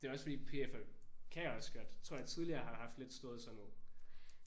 Det er også fordi PF er kan også godt tror jeg tidligere har haft lidt storhedsvanvid